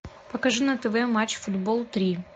покажи на тв матч футбол три